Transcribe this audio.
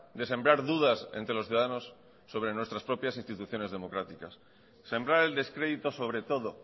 de sembrar dudas entre los ciudadanos sobre nuestras propias instituciones democráticas sembrar el descrédito sobre todo